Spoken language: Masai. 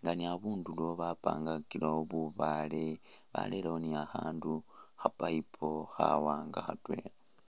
nga ni abundulo bapangakilewo bubaale barerewo ni khakhandu kha payipu khawaanga khatwela.